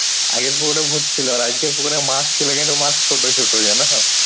আগের পুকুরে ভুত ছিলো আর আজকের পুকুরে মাছ ছিলো। কিন্তু মাছ ছোট ছোট জানো?